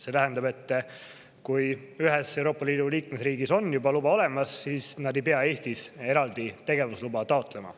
See tähendab, et kui ühes Euroopa Liidu liikmesriigis on neil luba juba olemas, siis nad ei pea Eestis eraldi tegevusluba taotlema.